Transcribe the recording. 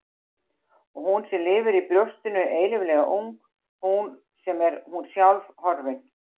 Og hún sem lifir í brjóstinu eilíflega ung, hún sem er hún sjálf, horfin.